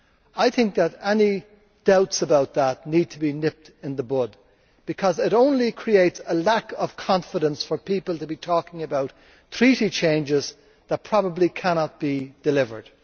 I think any doubts about that need to be nipped in the bud, because it only creates a lack of confidence for people to be talking about treaty changes that probably cannot be delivered.